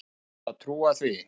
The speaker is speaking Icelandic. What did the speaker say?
Á maður að trúa því?